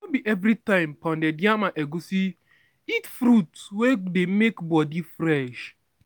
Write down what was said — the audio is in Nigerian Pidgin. no be everytime pounded yam and egusi eat fruits wey dey make body fresh